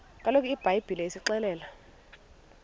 kaloku ibhayibhile isixelela